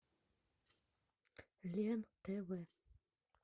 лен тв